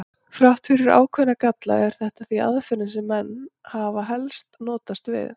Þrátt fyrir ákveðna galla er þetta því aðferðin sem menn hafa helst notast við.